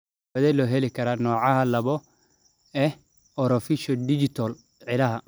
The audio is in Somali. Daawadee ayaa loo heli karaa nooca laabo ee orofaciodigital ciilada?